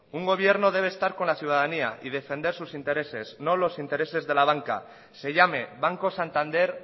un gobierno debe estar con la ciudadanía y defender sus intereses y no los intereses de la banca se llame banco santander